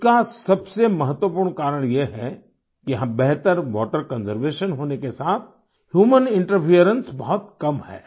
इसका सबसे महत्वपूर्ण कारण यह है कि यहाँ बेहतर वाटर कंजर्वेशन होने के साथ ह्यूमन इंटरफेरेंस बहुत कम है